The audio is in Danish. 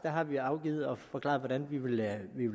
har vi forklaret hvordan vi vil